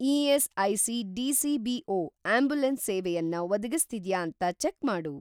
ESIC. DCBO. Ambulance ಸೇವೆಯನ್ನ ಒದಗಿಸ್ತಿದ್ಯಾ ಅಂತ ಚೆಕ್‌ ಮಾಡು.